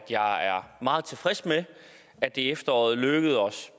jeg er meget tilfreds med at det i efteråret lykkedes os